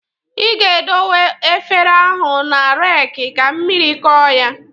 Ị ga-edowe efere ahụ na raki ka mmiri kọọ ya.